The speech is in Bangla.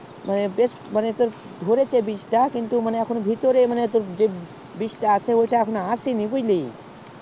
বেশ এই বীজ তা এসেছে কিন্তু এখন ধরে এখনো আসেনি বুঝলি